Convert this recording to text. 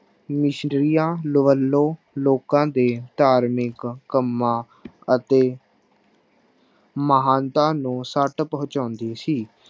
ਮਿਸਰੀਆਂ ਵੱਲੋਂ ਲੋਕਾਂ ਦੇ ਧਾਰਮਿਕ ਕੰਮਾਂ ਅਤੇ ਮਹਾਨਤਾ ਨੂੰ ਸੱਟ ਪਹੁੰਚਾਉਂਦੀ ਸੀ।